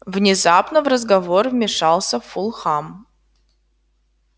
внезапно в разговор вмешался фулхам